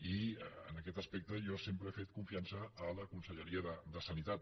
i en aquest aspecte jo sempre he fet confiança a la conselleria de sanitat